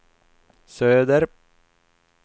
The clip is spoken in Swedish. söder